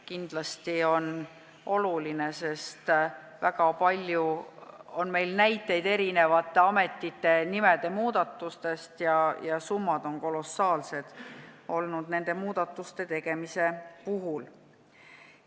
Kindlasti on see oluline, sest on väga palju näiteid ametite nimede muutmise kohta ja summad on nende muudatuste tegemisel olnud kolossaalsed.